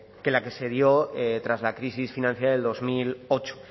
que la que se dio tras la crisis financiera de dos mil ocho